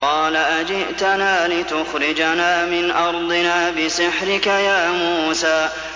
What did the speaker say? قَالَ أَجِئْتَنَا لِتُخْرِجَنَا مِنْ أَرْضِنَا بِسِحْرِكَ يَا مُوسَىٰ